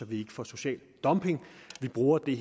vi ikke får social dumping vi bruger det